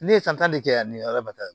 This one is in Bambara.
Ne ye san tan de kɛ yan ni ala barika la